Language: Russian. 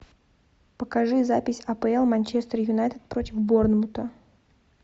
покажи запись апл манчестер юнайтед против борнмута